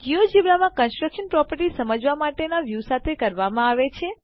GeoGebra માં construction properties સમજવાના view સાથે કરવામાં આવે છે